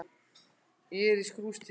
Ég er í skrúfstykki.